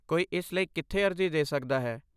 ਕੋਈ ਇਸ ਲਈ ਕਿੱਥੇ ਅਰਜ਼ੀ ਦੇ ਸਕਦਾ ਹੈ?